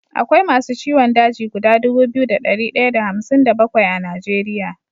Akwai masu ciwon daji guda Dubu biyu da dari daya da hamsin da bakwai a nigeria